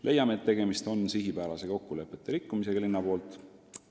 Leiame, et tegemist on sihipärase kokkulepete rikkumisega linna poolt.